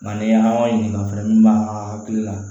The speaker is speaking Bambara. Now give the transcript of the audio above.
Nga ni an b'a ɲininka fɛnɛ min b'an ka hakili la